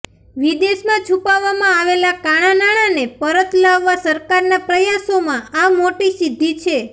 વિદેશમાં છુપાવવામાં આવેલા કાળા નાણાંને પરત લાવવા સરકારના પ્રયાસોમાં આ મોટી સિદ્ધિ છે